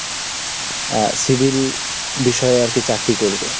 আহ, Civil বিষয়ে আর কি চাকরি করবে?